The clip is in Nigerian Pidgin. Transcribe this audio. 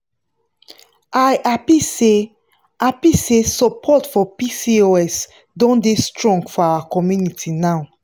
i happy say happy say support for pcos don dey strong for our community now.